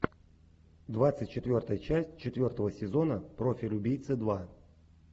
двадцать четвертая часть четвертого сезона профиль убийцы два